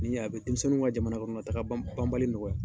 Nin a bɛ denmisɛnninw ka jamanakɔnɔtaa banbali nɔgɔya.